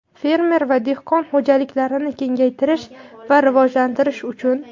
fermer va dehqon xo‘jaliklarini kengaytirish va rivojlantirish uchun.